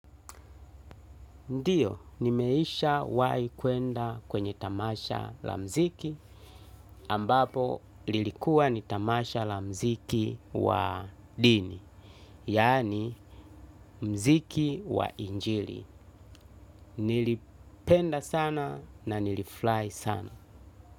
Ndiyo, nimeishawai kuenda kwenye tamasha la mziki ambapo lilikuwa ni tamasha la mziki wa dini, yaani mziki wa injili. Nilipenda sana na nilifurahi sana.